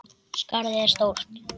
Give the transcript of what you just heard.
Skarðið er stórt.